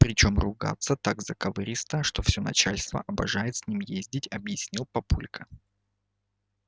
причём ругается так заковыристо что всё начальство обожает с ним ездить объяснил папулька